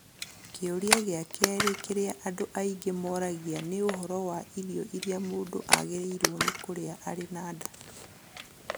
Kĩũria gĩa kerĩ kĩrĩa andũ aingĩ moragia nĩ ũhoro wa irio iria mũndũ agĩrĩirũo nĩ kũrĩa arĩ na nda.